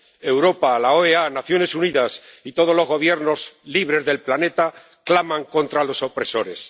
Europa, la OEA, las Naciones Unidas y todos los Gobiernos libres del planeta claman contra los opresores.